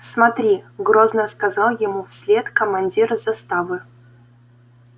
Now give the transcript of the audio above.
смотри грозно сказал ему вслед командир заставы